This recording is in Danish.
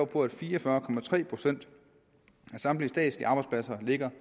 på at fire og fyrre procent af samtlige statslige arbejdspladser ligger